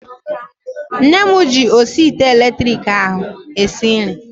Nne m ji osi ite elektriki ahu esi nri